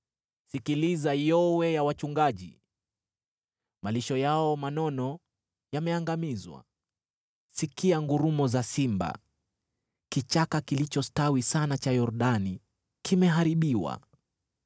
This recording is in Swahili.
Sikiliza yowe la wachungaji; malisho yao manono yameangamizwa! Sikia ngurumo za simba; kichaka kilichostawi sana cha Yordani kimeharibiwa!